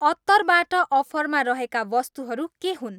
अत्तरबाट अफरमा रहेका वस्तुहरू के हुन्?